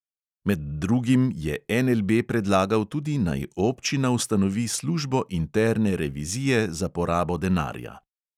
Med drugim je NLB predlagal tudi, naj občina ustanovi službo interne revizije za porabo denarja.